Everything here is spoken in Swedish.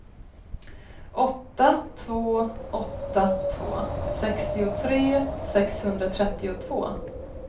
åtta två åtta två sextiotre sexhundratrettiotvå